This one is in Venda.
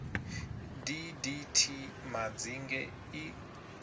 d d t madzinge i